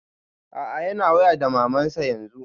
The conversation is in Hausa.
A'a yana waya da maman sa yanzun